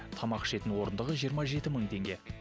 тамақ ішетін орындығы жиырма жеті мың теңге